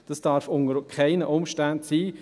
Das darf unter keinen Umständen sein.